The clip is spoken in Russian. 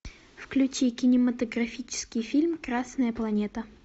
включи кинематографический фильм красная планета